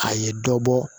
A ye dɔ bɔ